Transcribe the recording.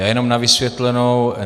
Já jenom na vysvětlenou.